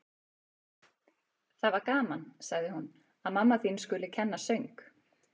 Það var gaman, sagði hún: Að mamma þín skuli kenna söng.